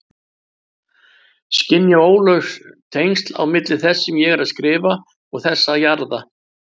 Skynja óljós tengsl á milli þess sem ég er að skrifa og þess að jarða.